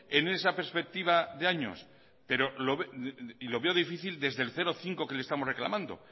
en esa perspectiva de años y lo veo difícil desde el cero coma cinco que le estamos reclamando